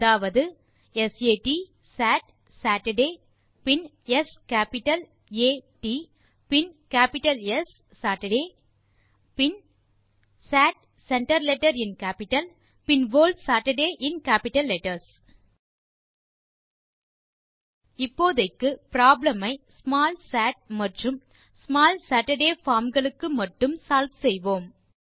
அதாவது Sat Saturday பின் S capital ஆ t160 பின் கேப்பிட்டல் ஸ் saturday160 பின் Sat centre letter in capital பின் whole Saturday in capital letters இப்போதைக்கு ப்ராப்ளம் ஐ ஸ்மால் சாட் மற்றும் ஸ்மால் சேட்டர்டே பார்ம் களுக்கு மட்டுமே ஸால்வ் செய்வோம்